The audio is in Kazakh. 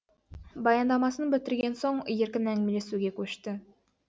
баяндамасын бітірген соң еркін әңгімелесуге көшті